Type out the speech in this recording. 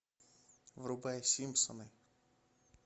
врубай симпсоны